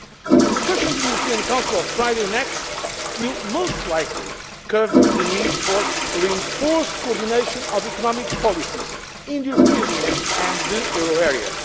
The discussions in the European Council of Friday next will most likely cover the need for reinforced coordination of economic policies in the European Union and the euro